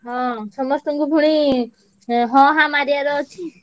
ହଁ ସମସ୍ତଙ୍କୁ ପୁଣି ଏଁ ହଁ ହାଁ ମାରିଆର ଅଛି।